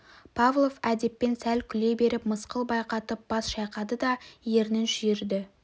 павлов әдеппен сәл күле беріп мысқыл байқатып бас шайқады да ернін шүйірді